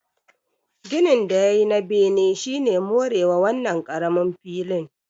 Ginin da ya yi na bene shi ne more wa wannan ƙaramin filin